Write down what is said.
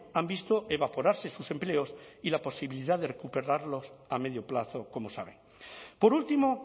han visto evaporarse sus empleos y la posibilidad de recuperarlos a medio plazo como sabe por último